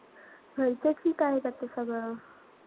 घरचे ठीक आहे बाकी सगळं.